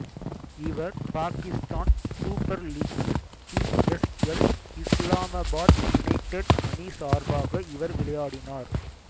இவர் பாகிஸ்தான் சூப்பர் லீக்கில் P S L Islamabad United அணி சார்பாக இவர் விளையாடினார்